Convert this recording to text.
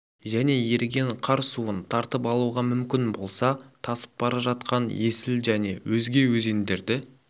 және еріген қар суын тартып алуға мүмкін болса тасып бара жатқан есіл және өзге өзендерді